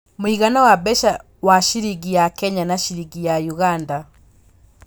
mũigana wa mbeca wa ciringi ya Kenya na ciringi ya Uganda